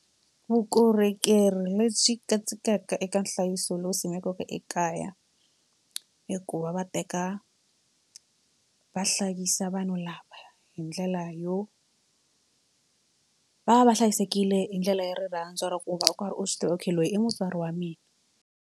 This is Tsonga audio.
Vukorhokeri lebyi katsekaka eka nhlayiso lowu simekaka ekaya i ku va va teka va hlayisa vanhu lava hi ndlela yo va va va hlayisekile hi ndlela yo rirhandzu ra ku va u karhi u swi tiva okay loyi i mutswari wa mina.